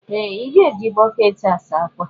Ee! Ị ga-eji bọkeeti saa ákwà.